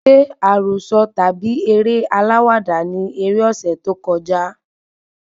Ṣé àròsọ tàbí eré aláwàdà ni eré ọsẹ tó kọjá?